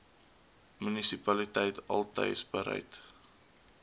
munisipaliteit altys bereid